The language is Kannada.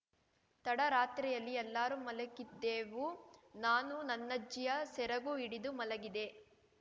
ತಡರಾತ್ರಿಯಲ್ಲಿ ಎಲ್ಲರೂ ಮಲಗಿದೆವು ನಾನು ನನ್ನಜ್ಜಿಯ ಸೆರಗು ಹಿಡಿದು ಮಲಗಿದೆ